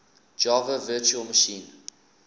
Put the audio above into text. java virtual machine